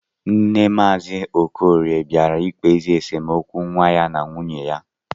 Nne maazi okorie bịara ikpezi esemokwu nwa ya na nwuye ya